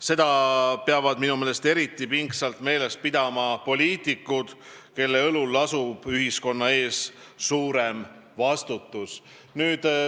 Seda peavad minu meelest eriti pingsalt meeles pidama poliitikud, kellel on ühiskonna ees suurem vastutus.